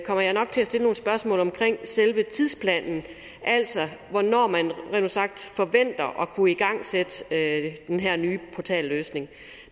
kommer jeg nok til at stille nogle spørgsmål om selve tidsplanen altså hvornår man rent ud sagt forventer at kunne igangsætte den her nye portalløsning